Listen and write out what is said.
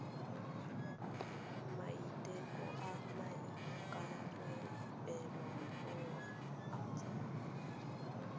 maiteko a maikarebelo a tsa